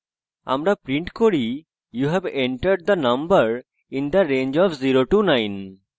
আমরা print করি you have entered the number in the range of 09